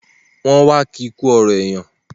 Wọ́n wá ki kú ọ̀rọ̀ èèyàn